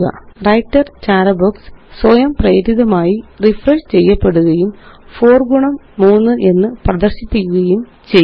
writer ചാര box സ്വയംപ്രേരിതമായി refresh ചെയ്യപ്പെടുകയും 4 ഗുണം 3 എന്ന് പ്രദര്ശിപ്പിക്കുകയും ചെയ്യുന്നു